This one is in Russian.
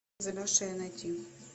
замерзшая найти